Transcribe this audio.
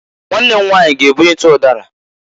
Nwanne m nwanyị g'ebunite ụdara.